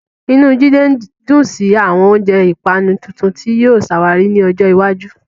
Inú Jide dùn sí àwọn oúnjẹ ìpanu tuntun tí yóò ṣàwárí ní ọjọ́ iwájú.